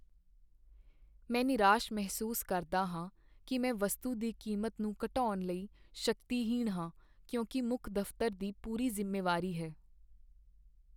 ਮੈਂ ਨਿਰਾਸ਼ ਮਹਿਸੂਸ ਕਰਦਾ ਹਾਂ ਕਿ੍ ਮੈਂ ਵਸਤੂ ਦੀ ਕੀਮਤ ਨੂੰ ਘਟਾਉਣ ਲਈ ਸ਼ਕਤੀਹੀਣ ਹਾਂ ਕਿਉਂਕਿ ਮੁੱਖ ਦਫ਼ਤਰ ਦੀ ਪੂਰੀ ਜ਼ਿੰਮੇਵਾਰੀ ਹੈ।